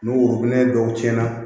Ni worobinɛ dɔw cɛnna